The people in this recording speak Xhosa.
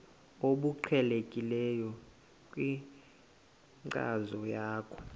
obuqhelekileyo kwinkcazo yakho